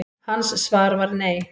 Hans svar var nei.